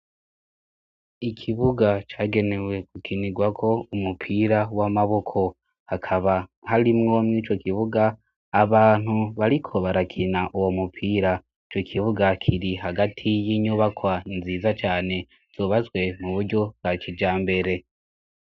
ikibuga cagenewe gukinirwako umupira w'amaboko hakaba harimwo mwico kibuga abantu bariko barakina uwo mupira ico kibuga kiri hagati y'inyubakwa nziza cane zobatswe muburyo bwakijambere